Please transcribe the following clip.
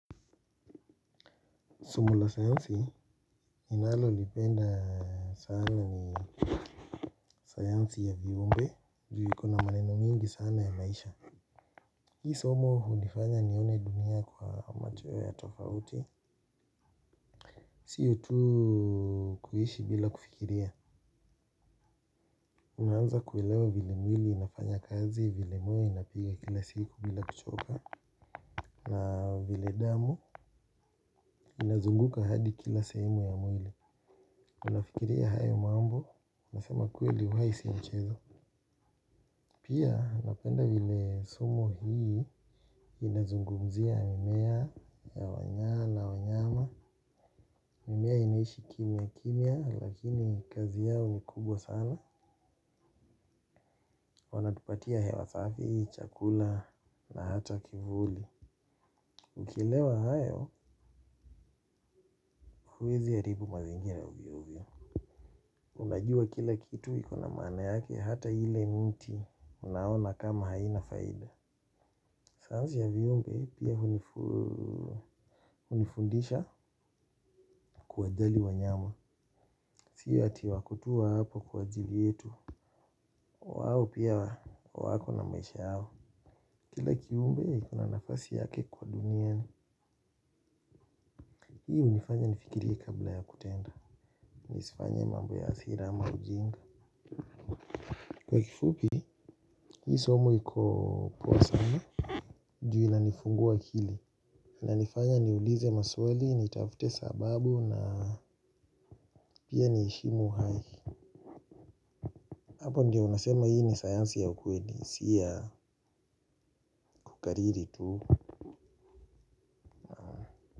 Somo la sayansi inalo lipenda sana ni sayansi ya viumbe juu iko na maneno mingi sana ya maisha. Hii somo hunifanya nione dunia kwa macho ya tofauti. Siyo tu kuishi bila kufikiria. Unaanza kuelewa vile mwili inafanya kazi, vile moyo inapiga kila siku bila kuchoka na vile damu inazunguka hadi kila sehemu ya mwili. Unafikiria hayo mambo, nasema kweli uhai si mchezo. Pia napenda vile somo hii inazungumzia mimea ya wanya na wanyama. Mimea inaishi kimia kimia lakini kazi yao ni kubwa sana. Wanatupatia hewa safi, chakula na hata kivuli. Ukielewa hayo huwezi haribu mazingira ovyo ovyo. Unajua kila kitu ikona maana yake hata ile mti unaona kama haina faida. Sayanzi ya viumbe pia hunifundisha kuwajali wanyama. Siyo ati wako tuu hapo kwa ajili yetu. Wao pia wako na maisha yao. Kila kiumbee iko na nafasi yake kwa duniani hii hunifanya nifikirie kabla ya kutenda. Nisifanye mambo ya hasira ama ujinga. Kwa kifupi, hii somo iko poa sana. Juu ina nifungua akili inanifanya niulize maswali, nitafute sababu na pia niheshimu hai. Hapo ndio unasema hii ni sayansi ya ukweli, si ya kukariri tu.